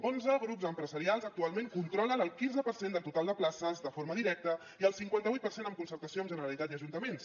onze grups empresarials actualment controlen el quinze per cent del total de places de forma directa i el cinquanta vuit per cent amb concertació amb generalitat i ajuntaments